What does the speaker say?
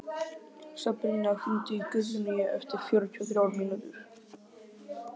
Sabrína, hringdu í Guðjóníu eftir fjörutíu og þrjár mínútur.